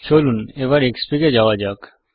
Xfig এ যাওয়া যাক